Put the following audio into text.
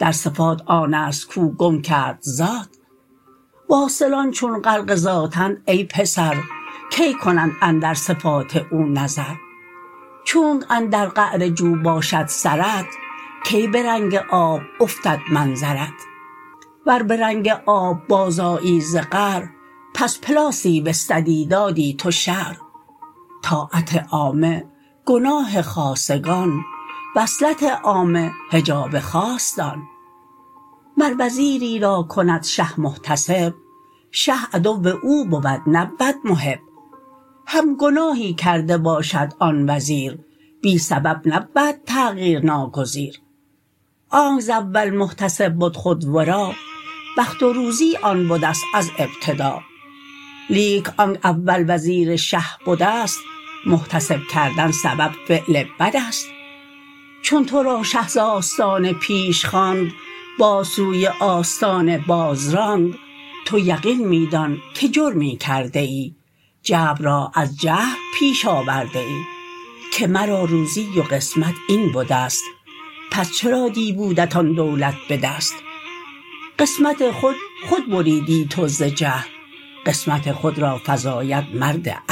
در صفات آنست کو گم کرد ذات واصلان چون غرق ذات اند ای پسر کی کنند اندر صفات او نظر چونک اندر قعر جو باشد سرت کی به رنگ آب افتد منظرت ور به رنگ آب باز آیی ز قعر پس پلاسی بستدی دادی تو شعر طاعت عامه گناه خاصگان وصلت عامه حجاب خاص دان مر وزیری را کند شه محتسب شه عدو او بود نبود محب هم گناهی کرده باشد آن وزیر بی سبب نبود تغیر ناگزیر آنک ز اول محتسب بد خود ورا بخت و روزی آن بدست از ابتدا لیک آنک اول وزیر شه بدست محتسب کردن سبب فعل بدست چون تو را شه ز آستانه پیش خواند باز سوی آستانه باز راند تو یقین می دان که جرمی کرده ای جبر را از جهل پیش آورده ای که مرا روزی و قسمت این بدست پس چرا دی بودت آن دولت به دست قسمت خود خود بریدی تو ز جهل قسمت خود را فزاید مرد اهل